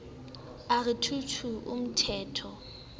a re two two umthetho